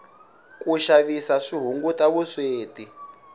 ku xavisa swi hunguta vusweti